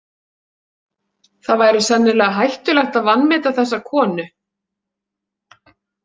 Það væri sennilega hættulegt að vanmeta þessa konu.